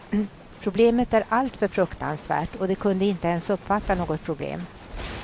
Problemet är alltför fruktansvärt, och de kunde inte ens uppfatta något problem.